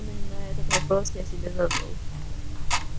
именно этот вопрос я себе задал